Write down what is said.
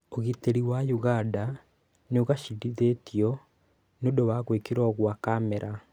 ũgitĩri wa ũganda nĩũgacĩrithĩtio nĩũndũ wa gwĩkĩrwo gwa Kamera